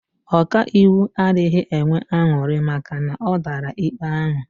Ọkaiwu adịghị enwe aṅụrị maka na ọ dara ikpe ahụ